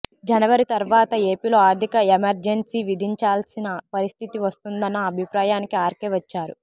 జనవరి తర్వతా ఏపీలో ఆర్థిక ఎమర్జెన్సీ విధించాల్సిన పరిస్థితి వస్తుందన్న అభిప్రాయానికి ఆర్కే వచ్చారు